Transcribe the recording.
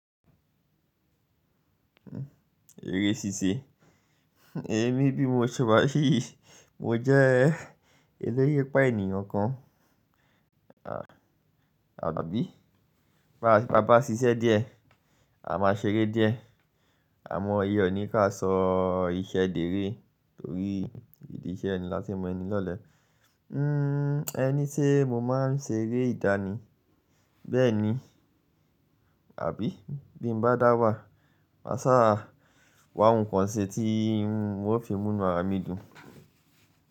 Èrè ṣíṣe. Èmi bí mo ṣe wa yìí, mo jẹ́ elérépà ènìyàn kan. Àbí báa, bá bá ṣiṣẹ́ díẹ̀, a máa ṣeré díẹ̀. Àmọ́ iyen o ní ká sọ iṣẹ́ dèré torí ìdí iṣẹ́ eni láti n mọ ẹni lọ́lẹ̀. Hmm ẹ ni se mo máa ń ṣeré ìdánì. Bẹ́ẹ̀ni, àbí bí m bá dà wà, mà sáa wá nǹkan ṣe tí n ò fi mú nu àra mí dun.